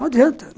Não adianta.